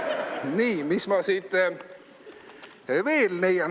" Nii, mis ma siit veel leian?